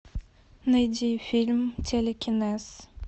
найди фильм телекинез